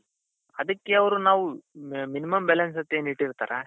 ಅದಕ್ಕೆ ಅವ್ರು ನಾವು minimum balance ಅಂತ ಏನ್ ಇಟ್ಟಿರ್ತಾರೆ.